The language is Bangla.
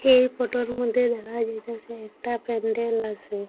এই ফটোর মদ্যে দেখা যাইতাসে একটা প্যান্ডেল আসে।